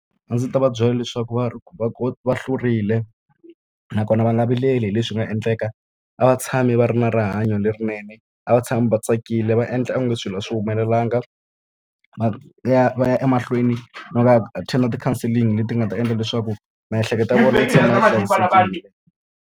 A ndzi ta va byela leswaku va va va hlurile, nakona va nga vileli hi leswi nga endleka. A va tshame va ri na rihanyo lerinene, a va tshame va tsakile va endla onge swilo a swi humelelanga. Va ya va ya emahlweni no va attend-a ti-counselling leti nga ta endla leswaku miehleketo ya vona yi tshama yi tsakile.